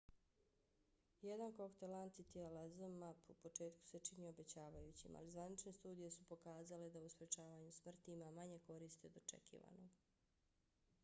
jedan koktel antitijela zmapp u početku se činio obećavajućim ali zvanične studije su pokazale da u sprečavanju smrti ima manje koristi od očekivanog